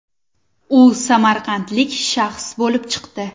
U samarqandlik shaxs bo‘lib chiqdi.